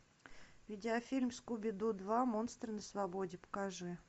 видеофильм скуби ду два монстры на свободе покажи